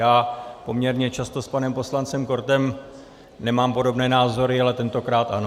Já poměrně často s panem poslancem Kortem nemám podobné názory, ale tentokrát ano.